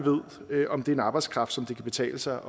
ved om det er en arbejdskraft som det kan betale sig